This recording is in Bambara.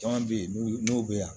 Caman bɛ yen n'o bɛ yan